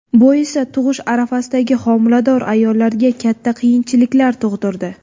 Bu esa tug‘ish arafasidagi homilador ayollarga katta qiyinchiliklar tug‘dirdi.